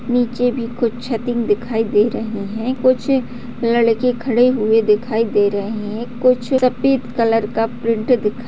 नीचे भी कुछ छतें दिखाई दे रही हैं कुछ लड़के खड़े हुए दिखाई दे रहें हैं कुछ सफेद कलर का प्रिन्ट दिखाई --